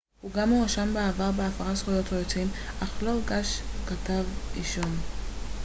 הוא גם הואשם בעבר בהפרת זכויות יוצרים אך לא הוגש כתב אישום